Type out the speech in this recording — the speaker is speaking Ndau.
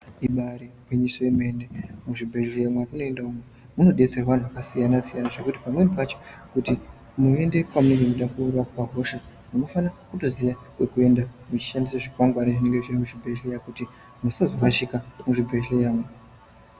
Ibari gwinyiso yemene mizvibhedhleya mwatinoenda umu munodetserwe anhu zvakasiyana siyana zvekuti pamweni pacho kuti munoende pane munhu unoda kurapwa hosha munkfana kutoziya kwekuenda muchishandisa zvikwangwani zvinenga zviri muzvibhedhleya kuti musazorashika muzvibhedhleya umu.